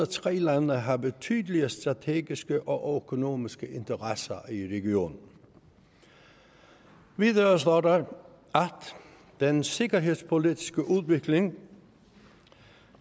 tre lande har betydelige strategiske og økonomiske interesser i regionen videre står der den sikkerhedspolitiske udvikling